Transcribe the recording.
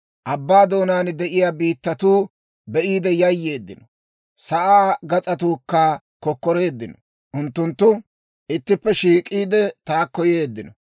Abbaa doonaan de'iyaa biittatuu be'iide yayyeeddino; sa'aa gas'atuukka kokkoreeddino. Unttunttu ittippe shiik'iide, taakko yeeddino.